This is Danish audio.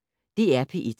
DR P1